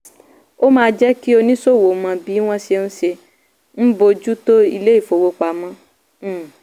ó máa jẹ́ kí oníṣòwò mọ bí wọ́n ṣe ń ṣe ń bójú tó ilé-ìfowópamọ́. um